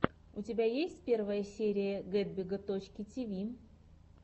у тебя есть первая серия гетбига точки тиви